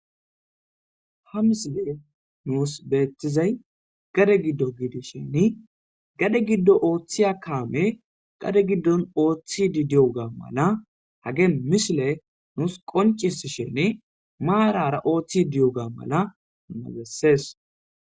Ha misile nuus beetizay gade giddo giidisheni gade giddo ooththiy a kaame qade giddon ooththi di di'oga mala hage misile nuus qoncis shene maarara ooththi diyo ga mala magessees.